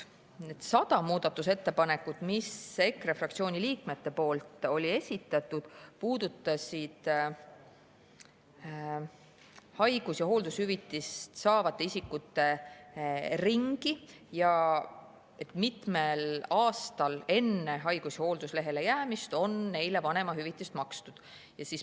Need 100 muudatusettepanekut, mis olid EKRE fraktsiooni liikmete esitatud, puudutasid haigus- ja hooldushüvitist saavate isikute ringi ning seda, kui mitmel aastal enne haigus- või hoolduslehele jäämist on neile makstud vanemahüvitist.